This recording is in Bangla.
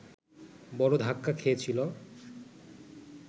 বড় ধাক্কা খেয়েছিল